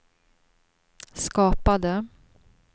skapade